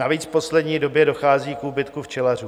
Navíc v poslední době dochází k úbytku včelařů.